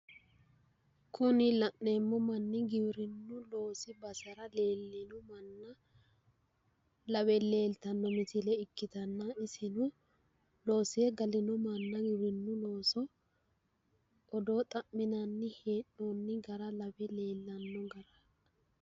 Kuni la'neemmo manni giwirinnu loosi basera leellino manni lawe leeltanno misile ikkitanna iseno loosire gale noo manna odoo xa'minanni hee'noonni gara lawe leellanno.